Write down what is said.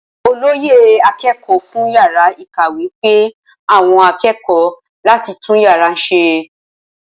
Olóyè akẹ́kọ̀ọ́ fún yàrá ìkàwé pe àwọn akẹ́kọ̀ọ́ láti tún yàrá náà ṣe